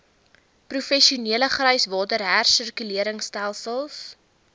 professionele gryswater hersirkuleringstelsels